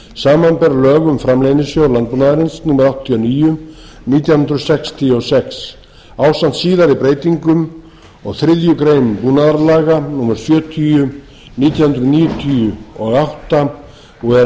lög um framleiðnisjóð landbúnaðarins númer áttatíu og níu nítján hundruð sextíu og sex ásamt síðari breytingum og þriðju grein búnaðarlaga númer sjötíu nítján hundruð níutíu og átta og er